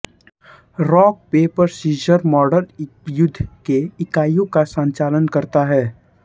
rock paper scissors model युद्ध के इकाइयों का संचालन करता है